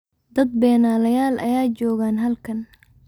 Dad beenalayal aya joogan halkan.